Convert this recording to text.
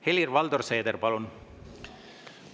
Helir-Valdor Seeder, palun!